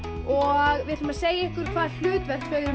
og við ætlum að segja ykkur hvaða hlutverk þau